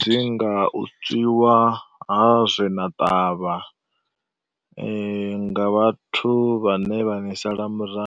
dzi nga u tswiwa ha zwe na ṱavha nga vhathu vhane vha ni sala murahu.